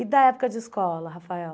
E da época de escola, Rafael?